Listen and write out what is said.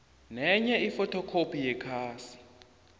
nenye ifothokhophi yekhasi